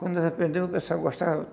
Quando nós aprendemos, o pessoal gostava.